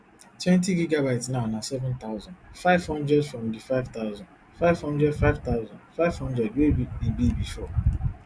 twentygb now na seven thousand, five hundred from di five thousand, five hundred five thousand, five hundred wey e be bifor